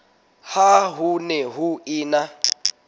ha ho ne ho ena